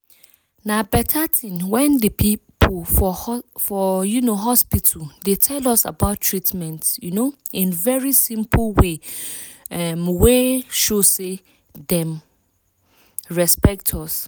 na beta thing when di people for um hospital dey tell us about treatment um in very simple way um wey show say dem respect us.